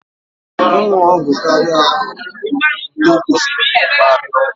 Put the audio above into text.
Ịṅụ ọgwụ karịa etu okwesiri bụ mkparịa ọgwụ